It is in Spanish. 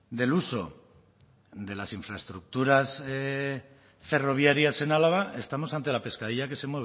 del uso de las infraestructuras ferroviarias en álava estamos ante la pescadilla que se